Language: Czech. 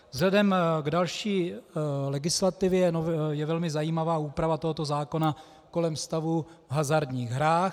Vzhledem k další legislativě je velmi zajímavá úprava tohoto zákona kolem stavu v hazardních hrách.